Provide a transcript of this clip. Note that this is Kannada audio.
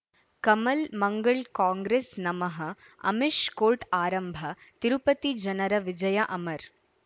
ಕಮಲ್ ಮಂಗಳ್ ಕಾಂಗ್ರೆಸ್ ನಮಃ ಅಮಿಷ್ ಕೋರ್ಟ್ ಆರಂಭ ತಿರುಪತಿ ಜನರ ವಿಜಯ ಅಮರ್